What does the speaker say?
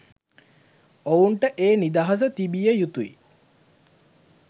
ඔවුන්ට ඒ නිදහස තිබිය යුතුයි.